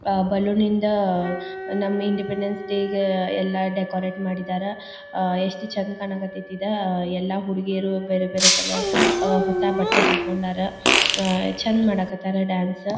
ಅಹ್ balloon ಇಂದ ನಮ್ಮ independence ಡೇಗೆ ಎಲ್ಲಾ ಡೆಕೋರೇಟ ಮಾಡಿದ್ದರ್. ಅಹ್ ಎಷ್ಟ ಚಂದ್ ಕಾಣ್ ಕತ್ತತಿ ಈದ್ ಎಲ್ಲಾ ಹುಡುಗೀರು ಬೇರೆ ಬೇರೆ ಕಲರ್ ಅಹ್ ಹೊಸ ಬಟ್ಟೆ ಹಾಕೊಂಡರ್. ಅಹ್ ಚಂದ್ ಮಾಡಕತ್ತರ್ ಡಾನ್ಸ್ .